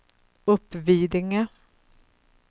Uppvidinge